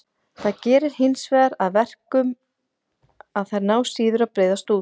Það gerir hinsvegar að verkum að þær ná síður að breiðast út.